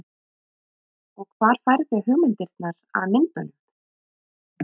Og hvar færðu hugmyndirnar að myndunum?